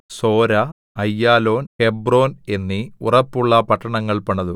Zorah Aijalon Hebron എന്നീ ഉറപ്പുള്ള പട്ടണങ്ങൾ പണിതു